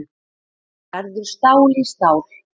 Verður stál í stál